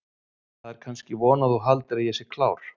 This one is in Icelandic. Það er kannski von að þú haldir að ég sé klár.